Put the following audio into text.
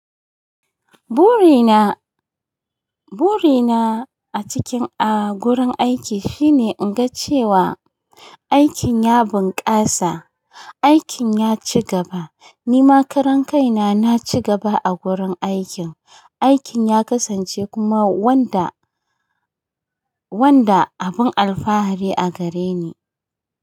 Burina, burina a cikin a gurin aiki shine in ga cewa aikin ya bunƙasa, aikin ya ci gaba. Ni ma karan kai na, na ci gaba a gurin aikin. Aikin ya kasance kuma wanda, wanda abin alfahari a gare ni.